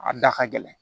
A da ka gɛlɛn